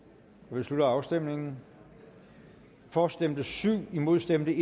vi slutter afstemningen for stemte syv imod stemte